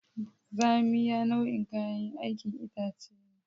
Zamiya nau'in kayan aikin itace ne.